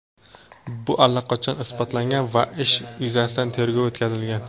Bu allaqachon isbotlangan va ish yuzasidan tergov o‘tkazilgan.